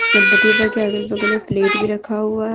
गणपति बप्पा के अगल बगल में प्लेट भी रखा हुआ।